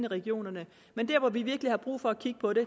regionerne men dér hvor vi virkelig har brug for at kigge på det